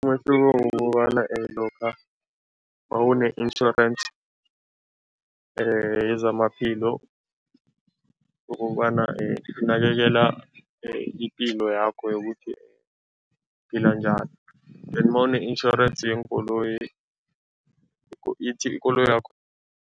Umehluko kukobana lokha mawune-insurance yezamaphilo ukobana ikunakekela ipilo yakho yokuthi uphila njani then nawune-insurance yeenkoloyi ithi ikoloyakho.